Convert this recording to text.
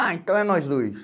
Ah, então é nós dois.